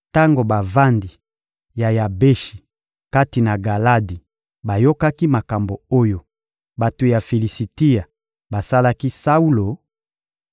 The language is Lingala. Tango bavandi ya Yabeshi kati na Galadi bayokaki makambo oyo bato ya Filisitia basalaki Saulo,